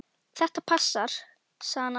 Þetta passar, sagði hann alltaf.